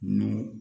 Nun